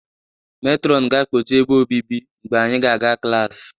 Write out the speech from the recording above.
Metrọnụ ga-akpọchi ebe obibi mgbe anyị ga-aga klaasị